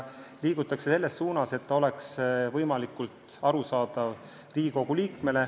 Liigume selles suunas, et eelarve oleks Riigikogu liikmele võimalikult arusaadav.